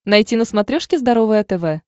найти на смотрешке здоровое тв